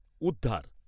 উদ্ধার